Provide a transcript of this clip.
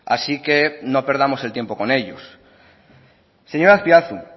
así que no perdamos el tiempo con ellos señor azpiazu